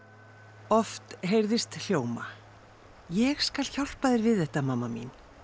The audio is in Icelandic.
oft heyrðist hljóma ég skal hjálpa þér við þetta mamma mín